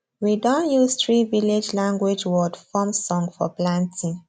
we don use three village language word form song for planting